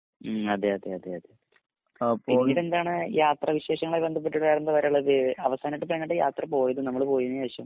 അതെയതെ അതെ പിന്നീട് എന്താണ് യാത്രാ വിശേഷങ്ങളുമായി ബദ്ധപ്പെട്ടു വേറെന്താ പറയാനുള്ളത്. അവസാനമായിട്ട് ഇപ്പൊ എങ്ങട്ടാണ് യാത്രപോയത് നമ്മള് പോയിന്ശേഷം